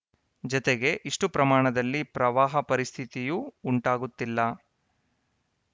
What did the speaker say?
ಜತೆಗೆ ಇಷ್ಟುಪ್ರಮಾಣದಲ್ಲಿ ಪ್ರವಾಹ ಪರಿಸ್ಥಿತಿಯೂ ಉಂಟಾಗುತ್ತಿಲ್ಲ